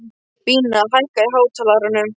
Bína, hækkaðu í hátalaranum.